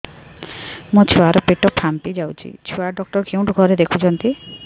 ମୋ ଛୁଆ ର ପେଟ ଫାମ୍ପି ଯାଉଛି ଛୁଆ ଡକ୍ଟର କେଉଁ ଘରେ ଦେଖୁ ଛନ୍ତି